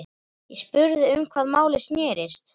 Ég spurði um hvað málið snerist.